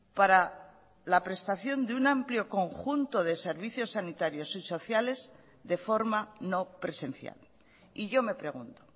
para la prestación de un amplio conjunto de servicio sanitarios y sociales de forma no presencial y yo me pregunto